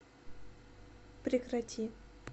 прекрати